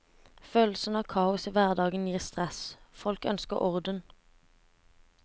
Følelsen av kaos i hverdagen gir stress, folk ønsker orden.